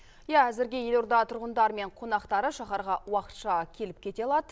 иә әзірге елорда тұрғындары мен қонақтары шаһарға уақытша келіп кете алады